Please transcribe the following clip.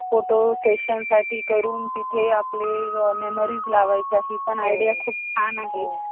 photo session साठी एक room तिथे आपले memories लावायचा आहे. पण आयडिया खूप छान आहे.